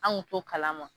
An kun t'o kalama